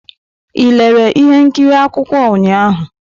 Ị lere ihe nkiri akwụkwọ ụnyahụ?